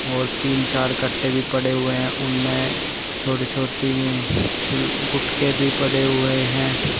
और तीन चार कट्टे भी पड़े हुए हैं उनमें छोटी छोटी में गुटके भी पड़े हुए हैं।